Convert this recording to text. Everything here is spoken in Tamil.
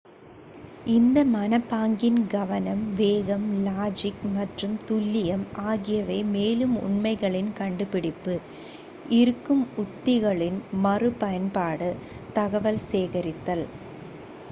இந்த மனப்பாங்கின் கவனம் வேகம் லாஜிக் மற்றும் துல்லியம் ஆகியவை மேலும் உண்மைகளின் கண்டுபிடிப்பு இருக்கும் உத்திகளின் மறு பயன்பாடு தகவல் சேகரித்தல்